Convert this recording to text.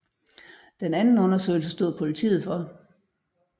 Den anden undersøgelse stod politiet for